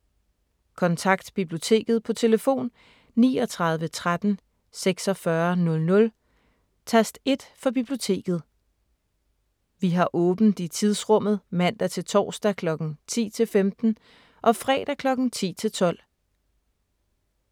Kontakt Biblioteket på telefon: 39 13 46 00, tast 1 for Biblioteket. Vi har åbent i tidsrummet mandag – torsdag kl. 10-15 og fredag kl. 10-12.